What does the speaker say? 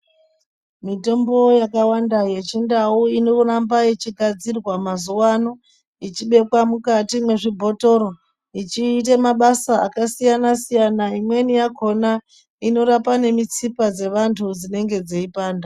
Mitombo yakawanda yechindau inoramba yechigadzirwa mazuwaano ichibekwa mukati mwezvibhotoro ichiite mabasa akasiyanasiyana imwewo yakona inorapa nemutsipa dzevantu dzinenge dzei panda.